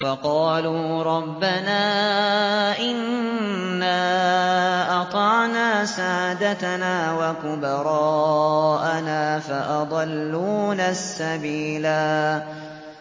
وَقَالُوا رَبَّنَا إِنَّا أَطَعْنَا سَادَتَنَا وَكُبَرَاءَنَا فَأَضَلُّونَا السَّبِيلَا